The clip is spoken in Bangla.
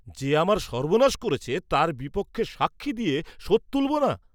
যে আমার সর্বনাশ করেছে তার বিপক্ষে সাক্ষী দিয়ে শোধ তুলব না!